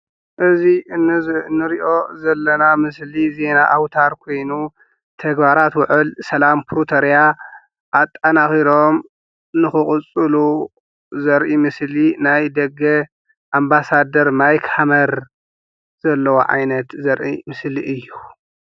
እዚ እንሪኦ ዘለና ምሰሊ ዜና ኣውታር ኮይኑ ተግባራት ዉዕል ሰላም ፕሪቶሪያ ኣጣናኺሮም ንኽቅፅሉ ዘርኢ ምስሊ ናይ ደገ ኣምባሳደር ማይክ ሃመር ዘለዎ ዓይነት ዘርኢ ምስሊ እዩ።